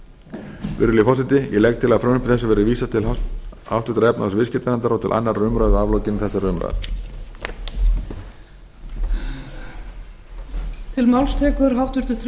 sex virðulegi forseti ég legg til að frumvarpi þessu verði vísað til háttvirtrar efnahags og viðskiptanefndar og til annarrar umræðu að lokinni þessari umræðu